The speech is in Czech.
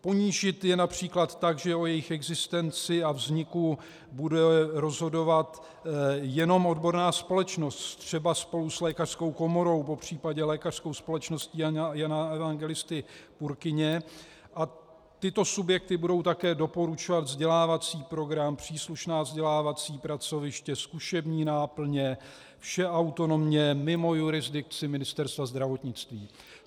Ponížit je například tak, že o jejich existenci a vzniku bude rozhodovat jenom odborná společnost třeba spolu s lékařskou komorou, popřípadě Lékařskou společností Jana Evangelisty Purkyně, a tyto subjekty budou také doporučovat vzdělávací program, příslušná vzdělávací pracoviště, zkušební náplně, vše autonomně, mimo jurisdikci Ministerstva zdravotnictví.